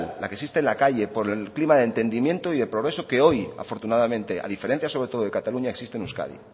la que existe en la calle por el clima de entendimiento y el progreso que hoy afortunadamente a diferencia sobre todo de cataluña existe en euskadi